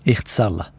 İxtisarla.